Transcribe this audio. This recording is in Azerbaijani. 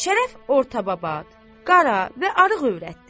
Şərəf ortababat, qara və arıq övrətdir.